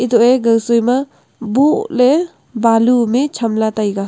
toh e gawsoi ma bohley balu ham e chamley taiga.